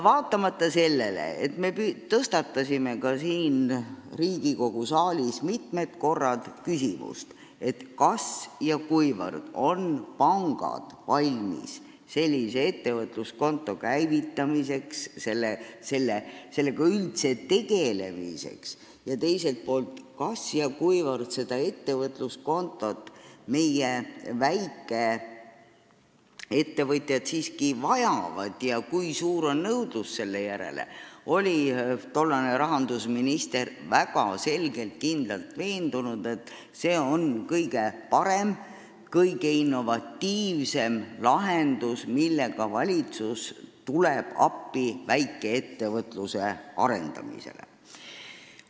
Vaatamata sellele, et me tõstatasime ka siin Riigikogu saalis mitmel korral küsimuse, kas ja kuivõrd on pangad valmis sellise ettevõtluskonto käivitamiseks, üldse sellega tegelemiseks ning kas ja kuivõrd meie väikeettevõtjad ettevõtluskontot siiski vajavad, kui suur on nõudlus selle järele, oli tollane rahandusminister kindlalt veendunud, et see on kõige parem ja kõige innovatiivsem lahendus, millega valitsus väikeettevõtlusele appi tuleb.